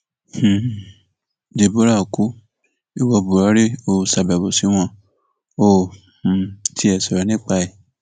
um deborah kú ìwo buhari óò ṣàbẹwò sí wọn óò um tiẹ sọrọ nípa ẹ